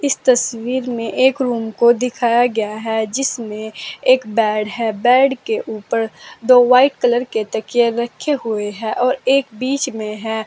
इस तस्वीर में एक रूम को दिखाया गया है जिसमें एक बेड है बेड के ऊपर दो वाइट कलर के तकिया रखे हुए हैं और एक बीच में है।